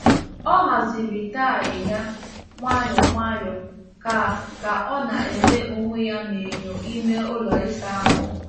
Ọ haziri tai ya nwayọ nwayọ ka ka o na-ele onwe ya n’enyo ime ụlọ ịsa ahụ.